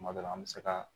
Kuma dɔ la an bɛ se ka